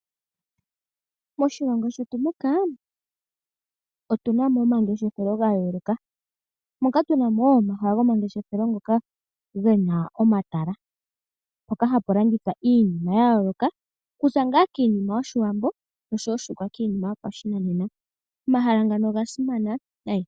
Moshilongo shetu muka otuna mo omangeshefelo gayooloka, moka tuna mo omahala gomangeshefelo ngoka gena omatala mpoka hapu landithwa iinima yayooloka okuza ngaa kiinima yoshiwambo noshowo iinima yopashinanena . Omahala ngano ogasimana nayi.